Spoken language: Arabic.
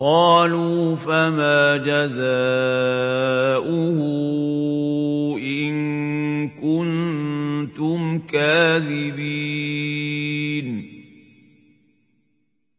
قَالُوا فَمَا جَزَاؤُهُ إِن كُنتُمْ كَاذِبِينَ